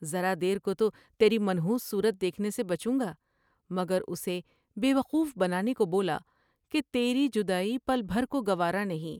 ذرا دیر کو تو تیری منحوس صورت دیکھنے سے بچوں گا مگر اسے بے وقوف بنانے کو بولا کہ تیری جدائی پل بھر کو گوارا نہیں ۔